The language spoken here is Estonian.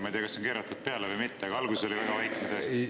Ma ei tea, kas on keeratud või mitte, aga alguses oli tõesti väga vaikne.